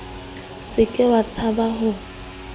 se ke wa tshaba ho